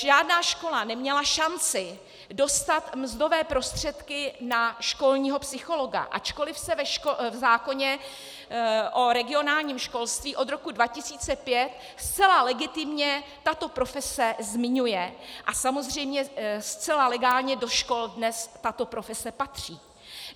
Žádná škola neměla šanci dostat mzdové prostředky na školního psychologa, ačkoliv se v zákoně o regionálním školství od roku 2005 zcela legitimně tato profese zmiňuje a samozřejmě zcela legálně do škol dnes tato profese patří.